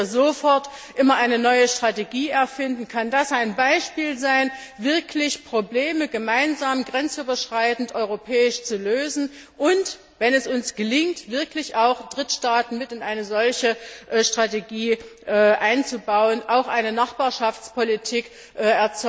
Ohne dass wir sofort immer eine neue Strategie erfinden, kann das ein Beispiel sein, wirklich Probleme gemeinsam grenzüberschreitend europäisch zu lösen und wenn es uns gelingt, wirklich auch Drittstaaten in eine solche Strategie einzubauen auch eine Nachbarschaftspolitik auf den Weg bringen,